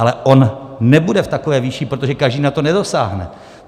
Ale on nebude v takové výši, protože každý na to nedosáhne.